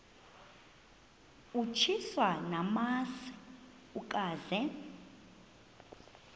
utyiswa namasi ukaze